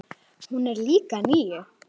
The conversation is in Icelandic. Hún er líka níu.